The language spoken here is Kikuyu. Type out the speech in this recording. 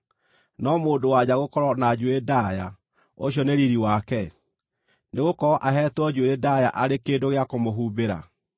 no mũndũ-wa-nja gũkorwo na njuĩrĩ ndaaya, ũcio nĩ riiri wake? Nĩgũkorwo aheetwo njuĩrĩ ndaaya arĩ kĩndũ gĩa kũmũhumbĩra.